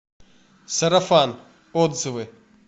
сарафан отзывы